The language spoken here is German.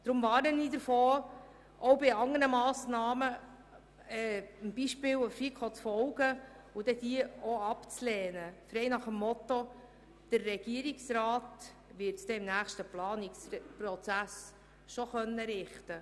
Deshalb warne ich davor, auch bei anderen Massnahmen dem Beispiel der FiKo zu folgen und diese abzulehnen, frei nach dem Motto: Der Regierungsrat wird es im nächsten Planungsprozess schon richten.